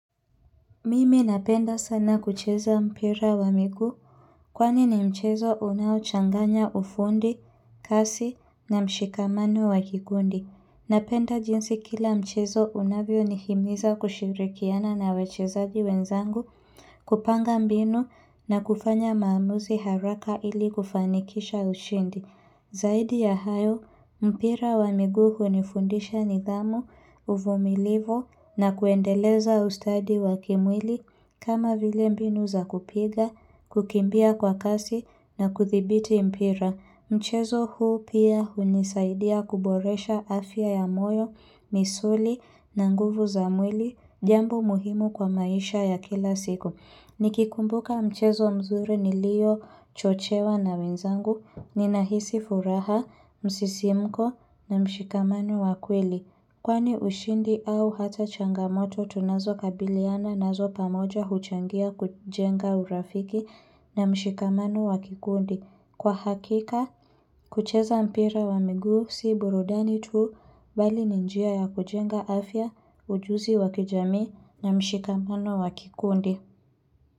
Mimi napenda sana kucheza mpira wa miguu. Kwani ni mchezo unao changanya ufundi, kasi na mshikamano wa kikundi. Napenda jinsi kila mchezo unavyo nihimiza kushirikiana na wachezaji wenzangu, kupanga mbinu na kufanya maamuzi haraka ili kufanikisha ushindi. Zaidi ya hayo, mpira wa miguu hunifundisha nidhamu, uvumilivu na kuendeleza ustadi wa kimwili kama vile mbinu za kupiga, kukimbia kwa kasi na kuthibiti mpira. Mchezo huu pia hunisaidia kuboresha afya ya moyo, misuli na nguvu za mwili, jambo muhimu kwa maisha ya kila siku. Nikikumbuka mchezo mzuri niliyo chochewa na wenzangu, ninahisi furaha, msisimko na mshikamano wakweli. Kwani ushindi au hata changamoto tunazo kabiliana nazo pamoja huchangia kujenga urafiki na mshikamano wa kikundi. Kwa hakika, kucheza mpira wa miguu si burudani tu bali ni njia ya kujenga afya ujuzi wa kijamii na mshikamano wa kikundi.